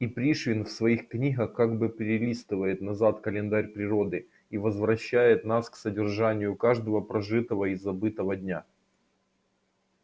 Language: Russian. и пришвин в своих книгах как бы перелистывает назад календарь природы и возвращает нас к содержанию каждого прожитого и забытого дня